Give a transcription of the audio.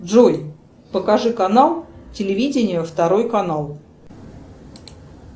джой покажи канал телевидение второй канал